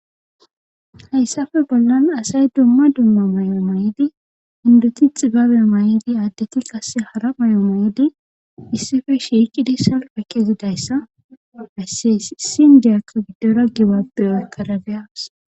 hayssafe bollan asay dumma dumma may7o may7idi induti xibabe may7idi aaddeti qasse hara may7o mayidi issife shiiqidi salpa kezidayssa haysse sindiyak giddora gibapbe aakarabeyaas